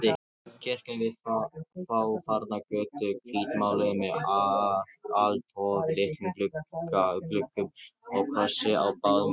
Kirkja við fáfarna götu, hvítmáluð með alltof litlum gluggum og krossi á báðum göflum.